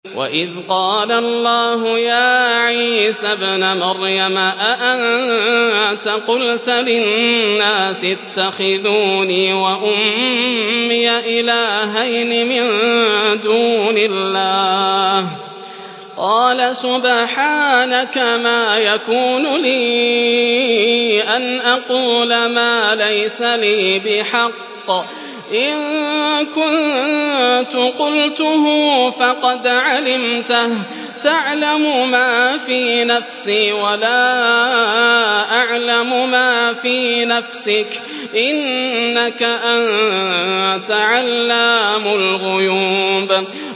وَإِذْ قَالَ اللَّهُ يَا عِيسَى ابْنَ مَرْيَمَ أَأَنتَ قُلْتَ لِلنَّاسِ اتَّخِذُونِي وَأُمِّيَ إِلَٰهَيْنِ مِن دُونِ اللَّهِ ۖ قَالَ سُبْحَانَكَ مَا يَكُونُ لِي أَنْ أَقُولَ مَا لَيْسَ لِي بِحَقٍّ ۚ إِن كُنتُ قُلْتُهُ فَقَدْ عَلِمْتَهُ ۚ تَعْلَمُ مَا فِي نَفْسِي وَلَا أَعْلَمُ مَا فِي نَفْسِكَ ۚ إِنَّكَ أَنتَ عَلَّامُ الْغُيُوبِ